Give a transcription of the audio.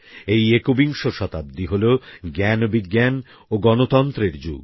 এই একবিংশতাব্দী হলো জ্ঞানবিজ্ঞান ও গণতন্ত্রের যুগ